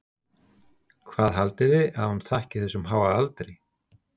Hvað haldið þið að hún þakki þessum háa aldri?